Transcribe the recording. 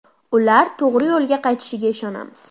Ular to‘g‘ri yo‘lga qaytishiga ishonamiz.